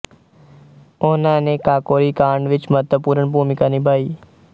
ਉਹਨਾਂ ਨੇ ਕਾਕੋਰੀ ਕਾਂਡ ਵਿੱਚ ਮਹੱਤਵਪੂਰਨ ਭੂਮਿਕਾ ਨਿਭਾਈ